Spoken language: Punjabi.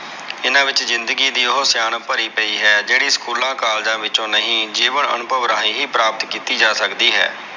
ਏਹਨਾ ਵਿਚ ਜ਼ਿੰਦਗੀ ਦੀ ਉਹ ਸਿਆਣਪ ਭਾਰੀ ਪਈ ਹੈ ਜਿਹੜੀ school college ਨਹੀਂ ਜੀਵਨ ਅਨੁਇਭਾਵ ਰਾਹੀਂ ਹੀ ਪ੍ਰਕਪਤ ਕਿੱਤੀ ਜਾ ਸਕਦੀ ਹੈ।